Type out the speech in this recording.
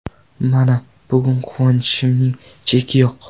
Mana, bugun quvonchimning cheki yo‘q.